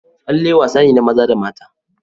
Tsalle wasane na maza da mata.